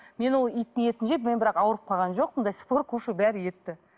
мен ол иттің етін жеп мен бірақ ауырып қалған жоқпын до сих пор кушаю бар етті